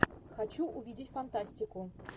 хочу увидеть фантастику